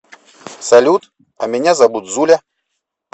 салют а меня зовут зуля